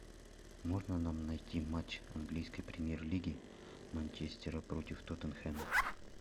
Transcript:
можно нам найти матч английской премьер лиги манчестера против тоттенхэма